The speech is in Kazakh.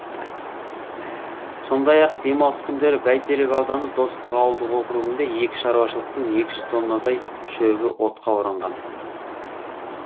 сондай ақ демалыс күндері бәйтерек ауданы достық ауылдық округінде екі шаруашылықтың екі жүз тоннадай шөбі отқа оранған